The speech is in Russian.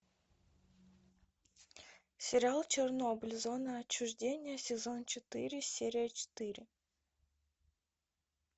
сериал чернобыль зона отчуждения сезон четыре серия четыре